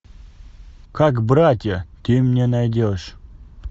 как братья ты мне найдешь